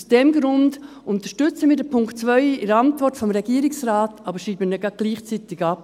Aus diesem Grund unterstützen wir den Punkt 2 in der Antwort des Regierungsrates, aber schreiben ihn gerade gleichzeitig ab.